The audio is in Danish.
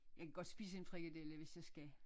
Jeg kan godt spise en frikadelle hvis jeg skal